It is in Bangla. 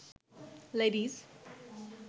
লেডিস